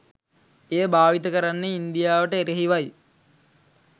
එය භාවිත කරන්නේ ඉන්දියාවට එරෙහිවයි.